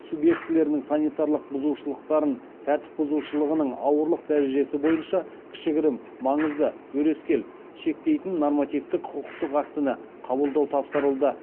субъектілерінің санитарлық бұзушылықтарын тәртіп бұзушылығының ауырлық дәрежесі бойынша шектейтін нормативтік құқықтық актіні қабылдау тапсырылды